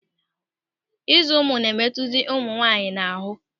Ịzụ ụmụ na-emetụzi nwunye m n'ahụ.